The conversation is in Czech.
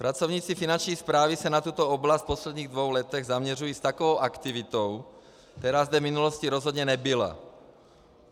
Pracovníci Finanční správy se na tuto oblast v posledních dvou letech zaměřují s takovou aktivitou, která zde v minulosti rozhodně nebyla.